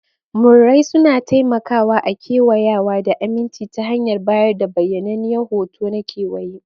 Murrai suna taimakawa a kewayawa da aminci ta hanyar bayar da bayyananniyar hoto na kewaye.